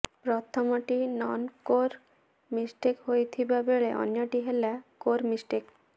ପ୍ରଥମଟି non core mistake ହୋଇଥିବା ବେଳେ ଅନ୍ୟଟି ହେଲା କୋର୍ ମିଷ୍ଟେକ୍